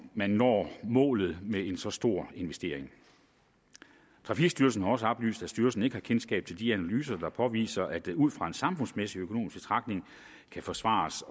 man når målet med så stor en investering trafikstyrelsen har også oplyst at styrelsen ikke har kendskab til de analyser der påviser at det ud fra en samfundsøkonomisk betragtning kan forsvares